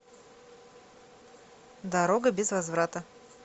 дорога без возврата